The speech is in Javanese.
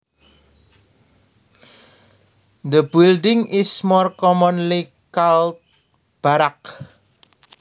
The building is more commonly called barracks